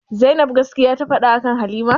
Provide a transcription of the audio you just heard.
Zainab gaskiya ta faɗa akan halima?